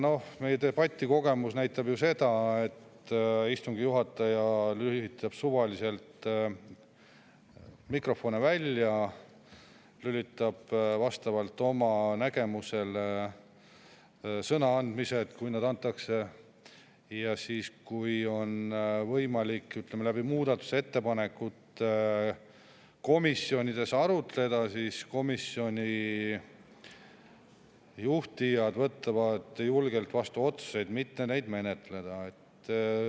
Noh, meie debatikogemus näitab ju seda, et istungi juhataja lülitab suvaliselt mikrofone välja, lülitab vastavalt oma nägemusele sisse sõnaandmised, kui sõna antakse, ja siis, kui on võimalik muudatusettepanekuid komisjonides arutleda, siis komisjoni juhtijad võtavad julgelt vastu otsuse, et mitte neid menetleda.